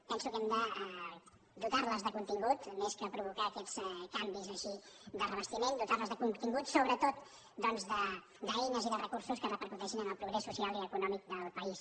penso que hem de dotar los de contingut més que provocar aquests canvis així de revestiment dotar los de contingut sobretot doncs d’eines i de recursos que repercuteixin en el progrés social i econòmic del país